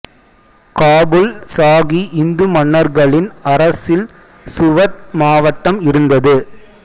காபூல் சாகி இந்து மன்னர்களின் அரசில் சுவத் மாவட்டம் இருந்தது